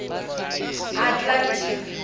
atlantic